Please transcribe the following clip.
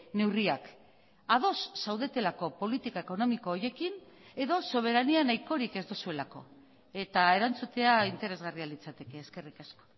neurriak ados zaudetelako politika ekonomiko horiekin edo soberania nahikorik ez duzuelako eta erantzutea interesgarria litzateke eskerrik asko